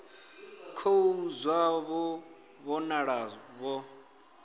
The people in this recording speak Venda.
khou zwa vho vhonala vho